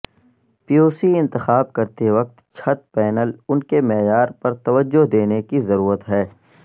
PVC انتخاب کرتے وقت چھت پینل ان کے معیار پر توجہ دینے کی ضرورت ہے